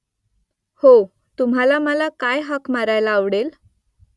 हो तुम्हाला मला काय हाक मारायला आवडेल ?